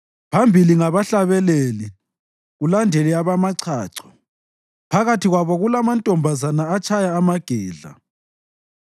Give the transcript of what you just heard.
Phambili ngabahlabeleli, kulandele abamachacho; phakathi kwabo kulamantombazana atshaya amagedla.